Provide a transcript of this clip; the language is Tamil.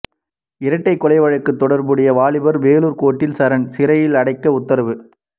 இரட்டை கொலை வழக்கில் தொடர்புடைய வாலிபர்கள் வேலூர் கோர்ட்டில் சரண் சிறையில் அடைக்க உத்தரவு